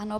Ano.